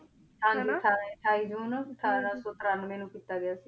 ਅਠਾਈ ਸੂਚੀ ਅਠਾਰਾਂ ਸੋ ਤ੍ਰਾਂਵ੍ਯ ਨੂ ਕੀਤਾ ਗਯਾ ਸੀ